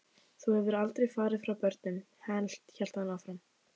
Þú hefðir aldrei farið frá börnunum, hélt hann áfram.